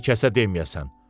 daha bir kəsə deməyəsən.